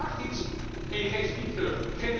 nu? Je vraagt iets en je geeft niets terug!